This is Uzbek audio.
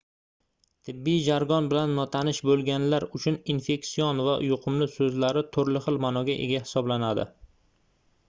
tibbiy jargon bilan notanish boʻlganlar uchun infeksion va yuqumli soʻzlari turli xil maʼnoga ega hisoblanadi